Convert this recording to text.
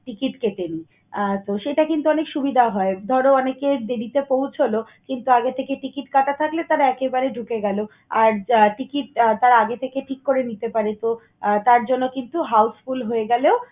ticket কেটে নেই। আহ তো, সেটা কিন্তু অনেক সুবিধা হয়। ধর অনেকের দেরিতে পৌঁছল কিন্তু আগে থেকে ticket কাটা থাকলে তাঁরা একেবারে ঢুকে গেল। আর আহ ticket আহ তাঁরা আগে থেকে ঠিক করে নিতে পারে তো, তার জন্য কিন্তু houseful হয়ে গেলো।